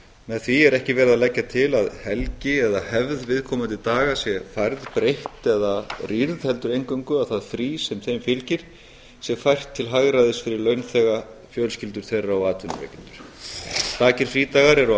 með því er ekki verið að leggja til að helgi eða hefð viðkomandi daga sé færð breytt eða rýrð heldur eingöngu að það frí sem þeim fylgir sé fært til hagræðis fyrir launþega fjölskyldur þeirra og atvinnurekendur stakir frídagar eru á